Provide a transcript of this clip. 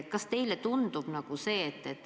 Kas teile tundub see normaalne?